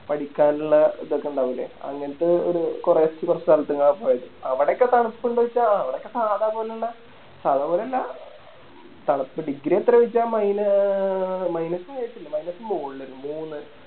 പഠിക്കാനിള്ള ഇതൊക്കെ ഇണ്ടാവൂലെ അങ്ങനത്തെ ഒരു കൊറേ കൊറച്ച് സ്ഥലത്തേക്ക് പോയി അവിടൊക്കെ തണുപ്പിണ്ടോ ചോയിച്ച ആ അവിടൊക്കെ സാദാ പോലുള്ള സാദാ പോലല്ല തണുപ്പ് Degree എത്ര ചോയിച്ച മൈന ആഹ് Minus ആയിട്ടില്ല Minus മോളില് ഒരു മൂന്ന്